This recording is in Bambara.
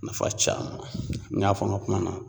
Nafa caaman, n y'a fɔ n ka kuma na